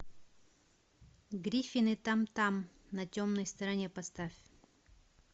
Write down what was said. гриффины там там на темной стороне поставь